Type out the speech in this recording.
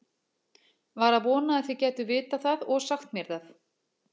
Var að vona þið gætuð vitað það og sagt mér það.